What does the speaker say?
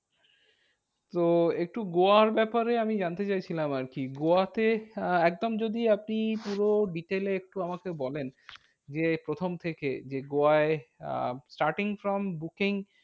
তো একটু গোয়ার ব্যাপারে আমি জানতে চাইছিলাম আরকি। গোয়াতে আহ একদম যদি আপনি পুরো detail এ একটু আমাকে বলেন যে, প্রথম থেকে যে গোয়ায় আহ starting from booking